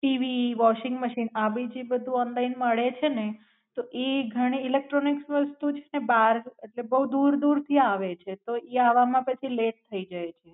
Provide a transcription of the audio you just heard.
TV washing machine આ ભી જે બધું ઓનલાઇન મળે છે ને તો ઈ ઇલેક્ટ્રોનિક્સ વસ્તુ છે ને બાર એટલે બોવ દૂર દૂર થી આવે છે તો ઈ આવામાં લેટ થાય જાય છે.